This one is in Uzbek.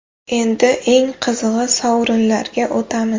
Endi eng qizig‘i, sovrinlarga o‘tamiz!